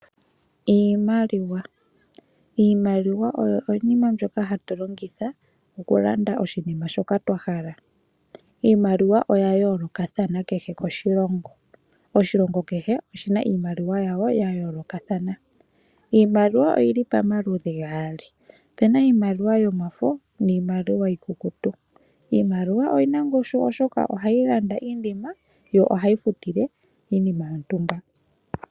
Iimaliwa oyi iinima ndjoka hatu longitha okulanda iinima ndjoka twahala, iimaliwa oya yoolokathana nakehe oshilongo oshina iimaliwa yaasho. Iimaliwa oyili pamaludhi gaali puna iimaliwa yomafo niimaliwa iikukutu iimaliwa oyina ongushu oshoka ohayi landa iinima nokufutila woo iinima.